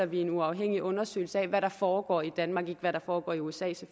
vi en uafhængig undersøgelse af hvad der foregår i danmark ikke hvad der foregår i usa